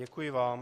Děkuji vám.